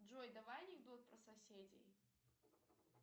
джой давай анекдот про соседей